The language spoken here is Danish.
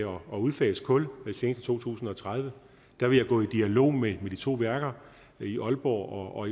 om at udfase kul senest i to tusind og tredive vil jeg gå i dialog med de to værker i aalborg og